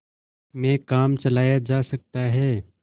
में काम चलाया जा सकता है